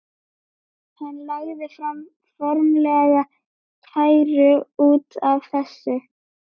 Hann lagði fram formlega kæru út af þessu.